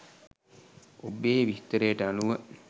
ඔබේ විස්තරයට අනුව